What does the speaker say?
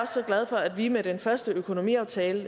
så glad for at vi med den første økonomiaftale